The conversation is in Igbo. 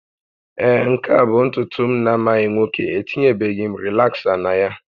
Ee, nke a bụ ntutu m na-amaghị nwoke, etinyebeghị m rịlaksa na ya